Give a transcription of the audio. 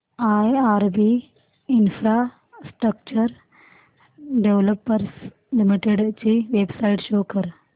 IRB infrastructure developers limited ची website show करा